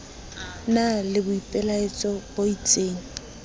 na le boipelaetso bo isteng